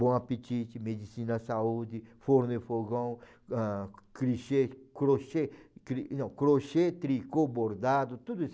Bom Apetite, Medicina Saúde, Forno e Fogão, ãh, clichê, Crochê, cri não, Tricô, Bordado, tudo isso.